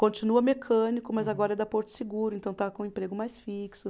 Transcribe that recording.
Continua mecânico, mas agora é da Porto Seguro, então está com um emprego mais fixo.